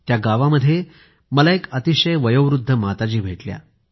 त्या गावामध्ये मला एक अतिशय वयोवृद्ध माताजी भेटल्या